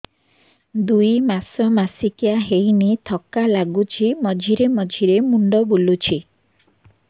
ଦୁଇ ମାସ ମାସିକିଆ ହେଇନି ଥକା ଲାଗୁଚି ମଝିରେ ମଝିରେ ମୁଣ୍ଡ ବୁଲୁଛି